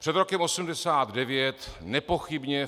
Před rokem 1989 nepochybně